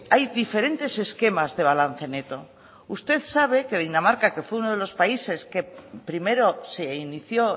hay diferentes esquemas de balance neto usted sabe que dinamarca que fue uno de los países que primero se inició